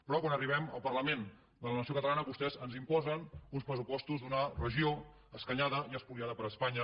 però quan arribem al parlament de la nació catalana vostès ens imposen uns pressupostos d’una regió escanyada i espoliada per espanya